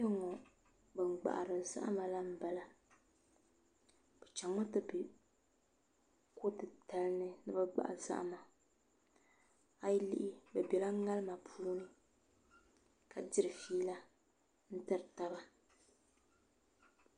Koɛŋŋo ban gbahari zahama la n bala bi chɛŋ mi ti bɛ ko titali ni ni bi gbahi zahama a yi lihi bi biɛla ŋarima puuni ka diri fiila n tiri taba